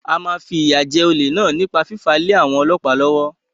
A máa fìyà jẹ olè náà nípa fífàá lé àwọn ọlọ́pàá lọ́wọ́.